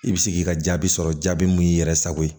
I bɛ se k'i ka jaabi sɔrɔ jaabi mun y'i yɛrɛ sago ye